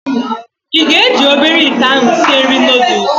Ị ga-eji obere ite ahụ sịe nri noodụs